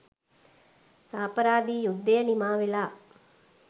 සාපරාධී යුද්ධය නිමා වෙලා